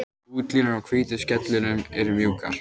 Útlínur á hvítu skellunum eru mjúkar.